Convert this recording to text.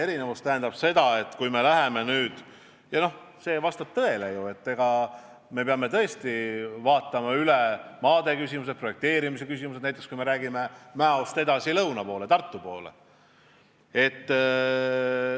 Vastab tõele, et me peame tõesti vaatama üle maade küsimused, projekteerimise küsimused, näiteks kui me räägime lõigust Mäost edasi lõuna poole, Tartu poole.